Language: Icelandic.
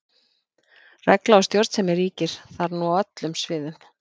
Regla og stjórnsemi ríkir þar nú á öllum sviðum.